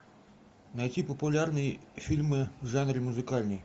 найти популярные фильмы в жанре музыкальный